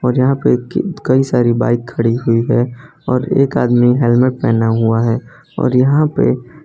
और यहां पे कई सारी बाइक खड़ी हुई है और एक आदमी हेलमेट पहनाहुआ है और यहां पे --